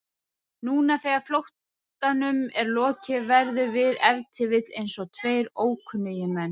Núna þegar flóttanum er lokið verðum við ef til vill einsog tveir ókunnugir menn.